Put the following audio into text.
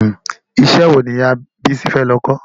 Ìṣe wo ni ìyà Bísí fẹ́ lọ kọ́?